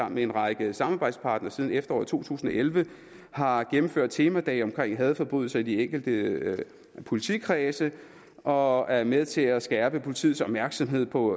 med en række samarbejdspartnere siden efteråret to tusind og elleve har gennemført temadage om hadforbrydelser i de enkelte politikredse og er med til at skærpe politiets opmærksomhed på